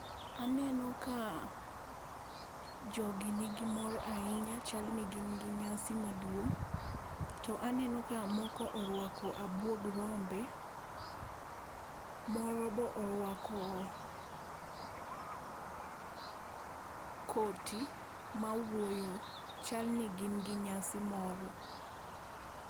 Aneno ka jogi nigi mor ahinya, chal ni gin gi nyasi maduong' to aneno ka moko oruako abuog rombe. Moro be oruako koti mawuoyo. Chal ni gin gi nyasi moro.